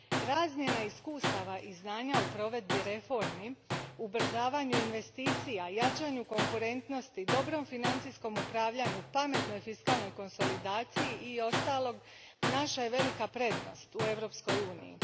Razmjena iskustava i znanja u provedbi reformi, ubrzavanju investicija, jačanju konkurentnosti, dobrom financijskom upravljanju, pametnoj fiskalnoj konsolidacji i ostalog, naša je velika prednost u Europskoj uniji.